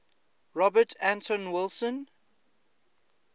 robert anton wilson